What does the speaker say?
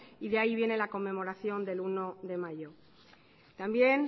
y de ahí viene la conmemoración del uno de mayo también